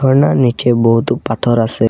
ঝর্নার নিচে বহুত পাথর আসে।